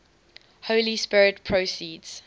holy spirit proceeds